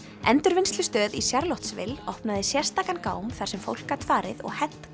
endurvinnslustöð í opnaði sérstakan gám þar sem fólk gat farið og hent